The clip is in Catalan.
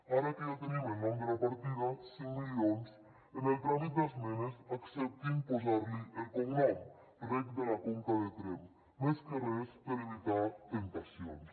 ara que ja tenim el nom de la partida cinc milions en el tràmit d’esmenes acceptin posar li el cognom reg de la conca de tremp més que res per evitar temptacions